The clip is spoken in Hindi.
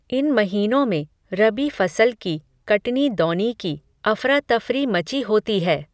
इन महीनों में, रबी फ़सल की, कटनी दौनी की, अफ़रा तफ़री मची होती है